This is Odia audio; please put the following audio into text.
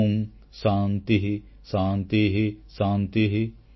ଓଁ ଶାନ୍ତିଃ ଶାନ୍ତିଃ ଶାନ୍ତିଃ